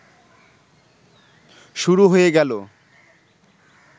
শুরু হয়ে গেল